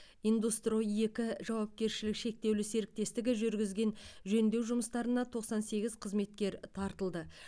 индустрой екі жауапкершілігі шектеулі серіктестігі жүргізген жөндеу жұмыстарына тоқсан сегіз қызметкер тартылды